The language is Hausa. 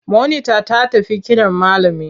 Monita ta tafi kiran malami.